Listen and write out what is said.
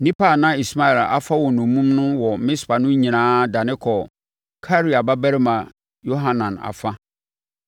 Nnipa a na Ismael afa wɔn nnommum wɔ Mispa no nyinaa dane kɔɔ Karea babarima Yohanan afa.